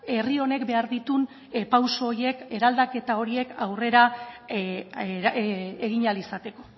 herri honek behar dituen pauso horiek eraldaketa horiek aurrera egin ahal izateko